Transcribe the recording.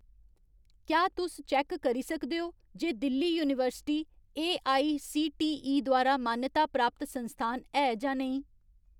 क्या तुस चैक्क करी सकदे ओ जे दिल्ली यूनीवर्सिटी एआईसीटीई द्वारा मानता प्राप्त संस्थान है जां नेईं ?